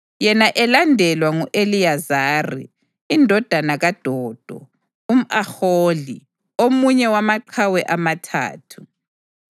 Yena elandelwa ngu-Eliyazari indodana kaDodo umʼAhohi omunye wamaqhawe amathathu.